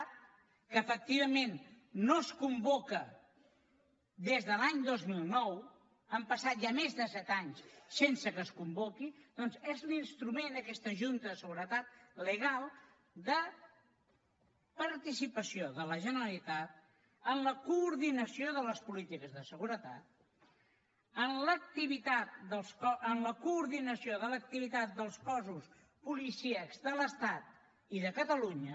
que efectivament no es convoca des de l’any dos mil nou han passat ja més de set anys sense que es convoqui doncs és l’instrument aquesta junta de seguretat legal de participació de la generalitat en la coordinació de les polítiques de seguretat en la coordinació de l’activitat dels cossos policíacs de l’estat i de catalunya